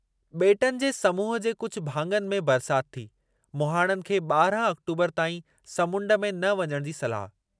ॿेटनि जे समूहु जे कुझु भाङनि में बरसाति थी, मुहाणनि खे ॿारह आक़्टोबरु ताईं समुंड में न वञणु जी सलाह।